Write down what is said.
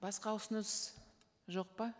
басқа ұсыныс жоқ па